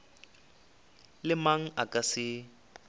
le mang a ka se